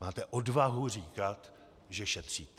Máte odvahu říkat, že šetříte.